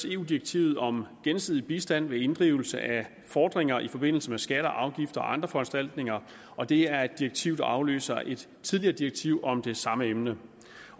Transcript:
eu direktivet om gensidig bistand ved inddrivelse af fordringer i forbindelse med skatter afgifter og andre foranstaltninger og det er et direktiv der afløser et tidligere direktiv om det samme emne